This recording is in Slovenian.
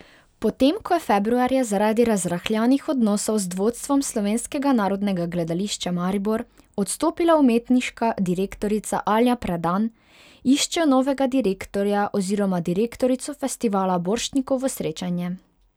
Potem ko je februarja zaradi razrahljanih odnosov z vodstvom Slovenskega narodnega gledališča Maribor odstopila umetniška direktorica Alja Predan, iščejo novega direktorja oziroma direktorico Festivala Borštnikovo srečanje.